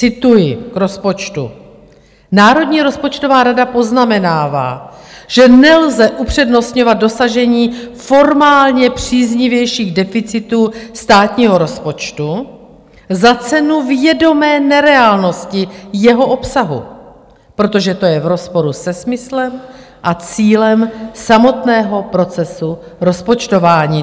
Cituji k rozpočtu: "Národní rozpočtová rada poznamenává, že nelze upřednostňovat dosažení formálně příznivějších deficitů státního rozpočtu za cenu vědomé nereálnosti jeho obsahu, protože to je v rozporu se smyslem a cílem samotného procesu rozpočtování."